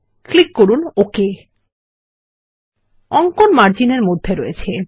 click করুন ওক অঙ্কন মার্জিন এর মধ্যে রয়েছে